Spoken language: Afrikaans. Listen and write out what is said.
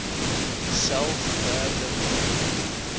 uself verder laat